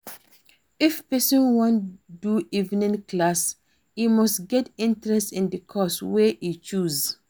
If persin wan do evening class e must get interest in the course wey e choose